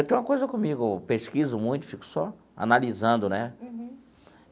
Eu tenho uma coisa comigo, pesquiso muito, fico só analisando, né?